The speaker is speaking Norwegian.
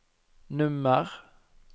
nummer